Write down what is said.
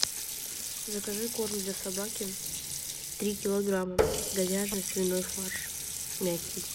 закажи корм для собаки три килограмма говяжий свиной фарш мягкий